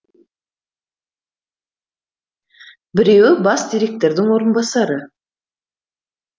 біреуі бас директордың орынбасары